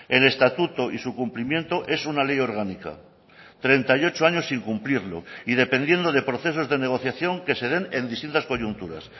el estatuto y su cumplimiento es una ley orgánica treinta y ocho años sin cumplirlo y dependiendo de procesos de negociación que se den en distintas coyunturas